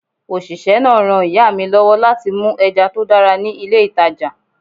Òṣìṣẹ́ náà ran ìyá mi lọ́wọ́ láti mú ẹja tó dára ní ilé ìtàjà.